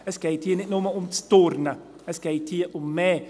Es geht hier nicht nur ums Turnen, es geht um mehr.